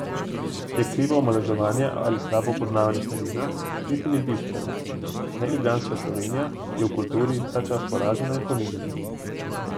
Je krivo omalovaževanje ali slabo poznavanje terena, niti ni bistveno, neljubljanska Slovenija je v kulturi ta čas poražena in ponižana.